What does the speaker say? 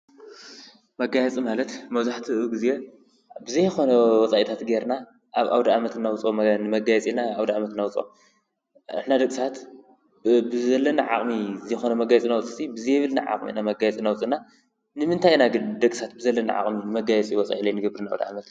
መጋየፂ ማለት መብዛሕቱ ግዘ ብዘይ ኮነ ወፃእታት ጌርና ኣብ ኣዉደኣመት ነዉፅኦ ንመጋየፂ ኢልና ነዉፅኦ። ንሕና ደቂ ሰባት ብዘለና ዓቅሚ ዘይኮነ ንመጋየፂ ነዉፅእስ ብዘይብልና ዓቅሚ ኢና መጋየፂ ነዉፅ እና። ንምንታይ ኢና ግን ደቂ ሰባት ብዘለና ዓቅሚ መጋየፂ ወጻኢ ዘይንገብር ንኣዉድኣመት ?